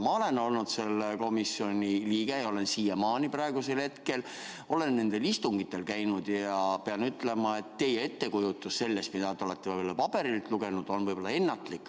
Ma olen olnud selle komisjoni liige ja olen siiamaani, olen nendel istungitel käinud ja pean ütlema, et teie ettekujutus sellest, mida te olete võib-olla paberilt lugenud, on ennatlik.